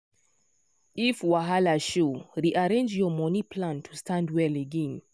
if wahala show rearrange your money plan to stand well again.